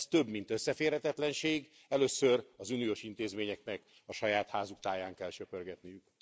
Ez több mint összeférhetetlenség, először az uniós intézményeknek a saját házuk táján kell söprögetniük.